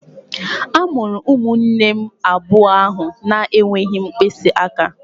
A mụrụ ụmụnne abụọ ahụ na-enweghị mkpịsị aka